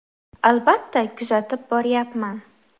Albatta, kuzatib boryapman.